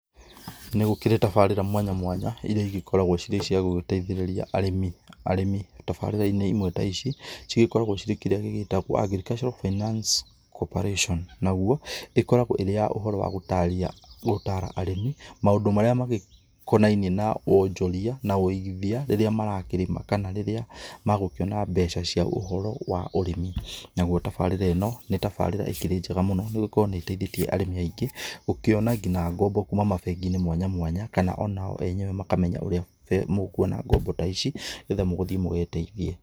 Nĩ gũkĩrĩ tabarĩra mwanya mwanya iria igĩkoragwo cirĩ cia gũgĩteithĩrĩria arĩmi arĩmi tabarĩra-inĩ imwe ta ici, cigĩkoragwo cirĩ kĩrĩa gĩgĩtagwo agricultural finance cooperation naguo, ĩkoragwo ĩrĩ ya ũhoro wa gũtarĩria gũtara arĩmi, maũndũ marĩa magĩkonainie na wonjoria na ũigithia rĩrĩa marakĩrĩma, kana rĩrĩa magũkĩona mbeca cia ũhoro wa ũrĩmi, naguo tabarĩra ĩno nĩ tabarĩra ĩkĩrĩ njega mũno nĩgũkorwo nĩ ĩteithĩtie arĩmi aingĩ, gũkĩona nginya ngombo kuuma mabengi-inĩ mwanya mwanya kana onao enyewe makamenya ũrĩa mũkuona ngombo ta ici, nĩgetha mũgũthiĩ mũgeteithie.